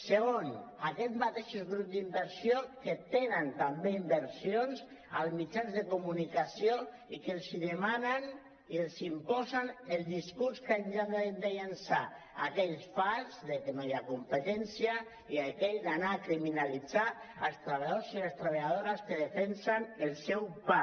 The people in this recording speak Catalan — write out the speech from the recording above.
segon aquests mateixos grups d’inversió que tenen també inversions als mitjans de comunicació i que els demanen i els imposen el discurs que han de llançar aquell fals de que no hi ha competència i aquell d’anar a criminalitzar els treballadors i les treballadores que defensen el seu pa